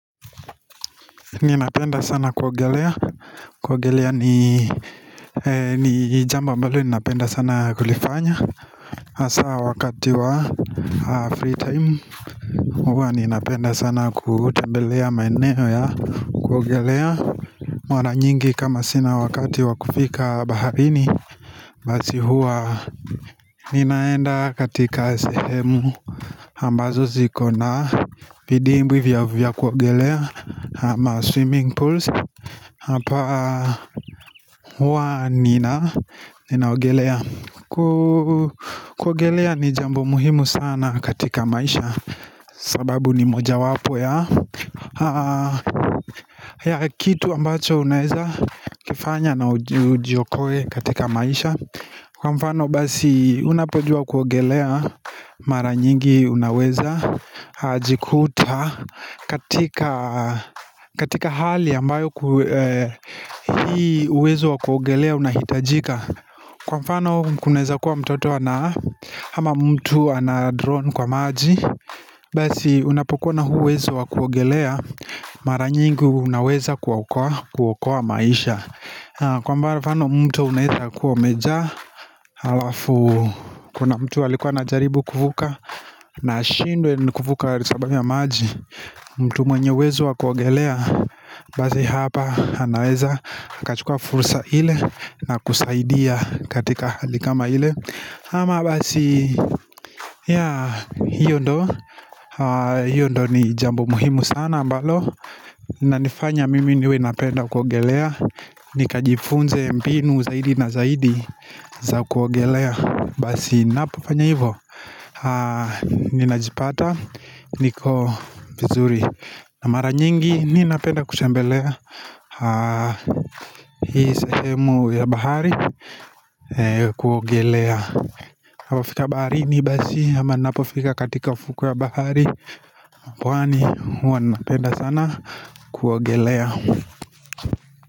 Ninapenda sana kuogelea. Kuogelea ni jambo ambalo ninapenda sana kulifanya. Hasa wakati wa free time. Huwa ninapenda sana kutembelea maeneo ya kuogelea. Mana nyingi kama sina wakati wa kufika baharini, Basi huwa ninaenda katika sehemu, ambazo ziko na vidimbwi vya kuogelea ama swimming pools. Hapa huwa ninaogelea. Kuogelea ni jambo muhimu sana katika maisha. Sababu ni mojawapo ya kitu ambacho unaeza kifanya na ujiokoe katika maisha. Kwa mfano basi unapojua kuogelea, mara nyingi unaweza jikuta. Katika hali ambayo hii uwezo wa kuogelea unahitajika. Kwa mfano kunaeza kuwa mtoto ana, ama mtu ana-drown kwa maji, Basi unapokuwa na huu uwezo wa kuogelea, Mara nyingu, unaweza kuokoa maisha. Kwa mfano mtu unaeza kuwa umejaa Alafu kuna mtu alikua anajaribu kuvuka, na ashindwe na kuvuka kwa sababu ya maji mtu mwenye uwezo wa kuogelea, Basi hapa anaweza akachua fursa ile, na kusaidia katika hali kama ile. Ama basi, yeah, hiyo ndio hiyo ndio ni jambo muhimu sana ambalo inanifanya mimi niwe napenda kuogelea. Nikajifunze mbinu zaidi na zaidi za kuogelea. Basi ninapofanya hivo, Ninajipata niko vizuri. Na mara nyingi ninapenda kutembelea, Hii sehemu ya bahari kuogelea. Ninapofika baharini, basi ama ninapofika katika ufukwe wa bahari pwani, huwa napenda sana kuogelea.